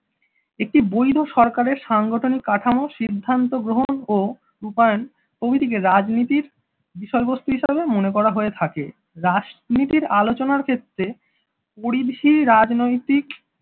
একটি বৈধ সরকারের সাংগঠনিক কাঠামো সিদ্ধান্ত গ্রহণ ও রূপায়ণ প্রভৃতিকে রাজনীতির বিষয়বস্তু হিসেবে মনে করা হয়ে থাকে। রাজনীতির আলোচনার ক্ষেত্রে পরিধি রাজনৈতিক